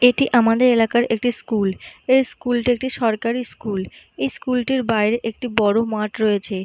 এইটি আমাদের এলাকার একটি স্কুল । এই স্কুল -টি একটি সরকারি স্কুল । এই স্কুল -টির বাহিরে একটি বড়ো মাঠ রয়েছে।